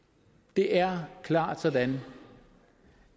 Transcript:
det er klart sådan